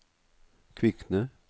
Kvikne